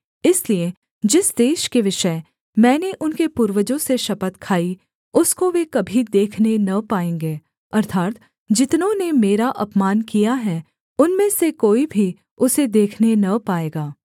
इसलिए जिस देश के विषय मैंने उनके पूर्वजों से शपथ खाई उसको वे कभी देखने न पाएँगे अर्थात् जितनों ने मेरा अपमान किया है उनमें से कोई भी उसे देखने न पाएगा